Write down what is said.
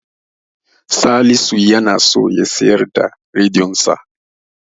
Salisu yana so ya siyar da rediyonsa.